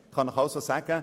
Ich kann Ihnen sagen: